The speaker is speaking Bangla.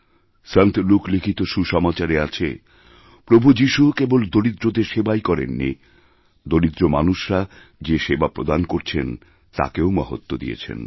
সন্ত লুক লিখিত সুসমাচারে আছে প্রভু যিশু কেবল দরিদ্রদের সেবাইকরেননি দরিদ্র মানুষরা যে সেবা প্রদান করছেন তাকেও মহত্ব দিয়েছেন